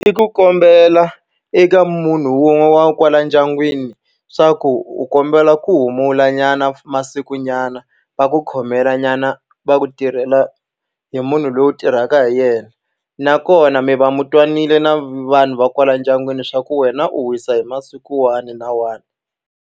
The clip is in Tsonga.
I ku kombela eka munhu wun'we wa kwala ndyangwini leswaku u kombela ku humulanyana masikunyana, va ku khomelanyana, va ku tirhela hi munhu loyi u tirhaka hi yena. Nakona mi va mi twananile na vanhu va kwala ndyangwini leswaku wena u wisa hi masiku wahi na wahi.